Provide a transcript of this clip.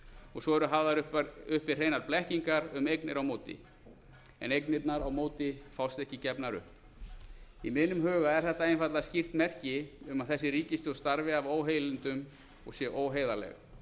og svo eru hafðar uppi hreinar blekkingar um eignir á móti en eignirnar á móti fást ekki gefnar upp í mínum huga er þetta einfaldlega skýrt merki um að þessi ríkisstjórn starfi af óheilindum og sé óheiðarleg